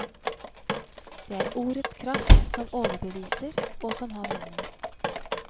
Det er ordets kraft som overbeviser og som har mening.